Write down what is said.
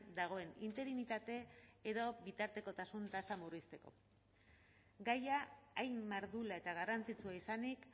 dagoen interinitate edo bitartekotasun tasa murrizteko gaia hain mardula eta garrantzitsua izanik